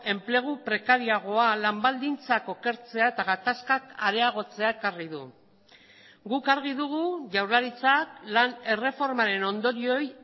enplegu prekariagoa lan baldintzak okertzea eta gatazkak areagotzea ekarri du guk argi dugu jaurlaritzak lan erreformaren ondorioei